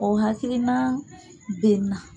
O hakilina bɛ n na.